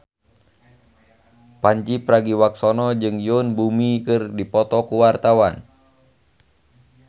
Pandji Pragiwaksono jeung Yoon Bomi keur dipoto ku wartawan